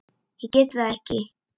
Ég get það ekki